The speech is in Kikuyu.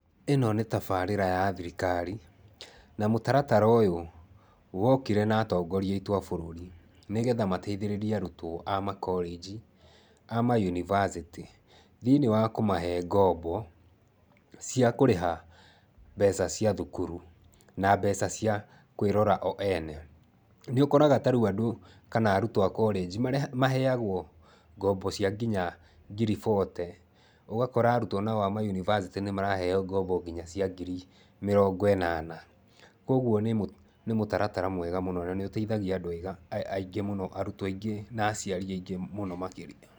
Ĩno nĩ tabarĩra ya thirikari na mũtaratara ũyũ wokire na atongoria aitũ a bũrũri nĩgetha mateithĩrĩrie arutwo a makorĩji a mayunivacĩtĩ thĩinĩ wa kũmahe ngombo cia kũrĩha mbeca cia cukuru na mbeca cia kwĩrora o ene. Nĩũkoraga ta rĩu andũ kana arutwo a korĩnji maheyagwo ngombo cia nginya ngiri bote, ũgakora nao arutwo a mayunivacĩtĩ maraheyo ngombo cia nginya ngiri mĩrongo ĩnana. Koguo nĩ mũtaratara mwega mũno na nĩũteithagia andũ aingĩ, arutwo aingĩ na aciari aingĩ mũno makĩria.